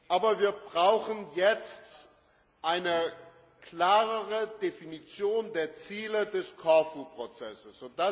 Aber wir brauchen jetzt eine klarere Definition der Ziele des Korfu Prozesses.